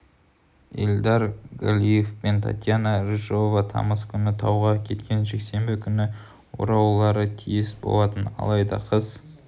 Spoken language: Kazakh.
ильдар галиев пен татьяна рыжева тамыз күні тауға кеткен жексенбі күні оралулары тиіс болатын алайда қыз